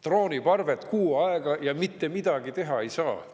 Drooniparved kuu aega, ja mitte midagi teha ei saa.